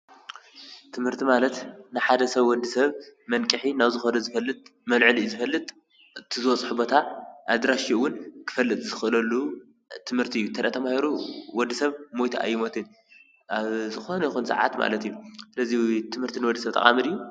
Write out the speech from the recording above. ትምህርቲ ማለት ንሓደ ሰብ ወዲሰብ መንቅሒ ናብ ዝኸዶ ዝፈጥል መልዐሊኡ ዝፈልጥ እቲ ዝበፅሖ ቦታ ኣድራሽኡን እዉን ክፍለጥ ዝኽእለሉ ትምህርቲ እዩ። እንተዳኣ ተማሂሩ ወዲሰብ ሞይቱ ኣይሞትን ኣብ ዝኾነ ይኹን ስዓት ማለት እዩ። ስዘሊ ትምህርቲ ንወዲ ሰብ ጠቓሚ ድዩ?